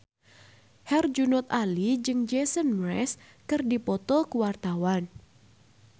Herjunot Ali jeung Jason Mraz keur dipoto ku wartawan